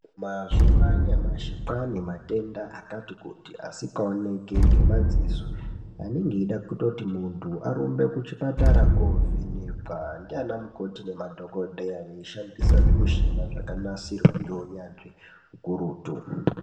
Mazuwa anyamashi kwaanematenda akati kuti asikaoneki ngemadziso. Anenge eida kutoti muntu arumbe kuchipatara kuovhenekwa ndiana mukoti nemadhogodheya veishandisa zvimuchina zvakanasirwa ngeunyanzvi hukurutu.